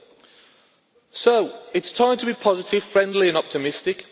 It is time to be positive, friendly and optimistic.